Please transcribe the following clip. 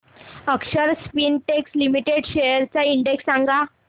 अक्षर Spintex Limited shares चा index सांगा